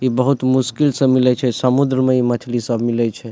इ बहुत मुश्किल से मिलय छै समुद्र में इ मछली सब मिलय छै।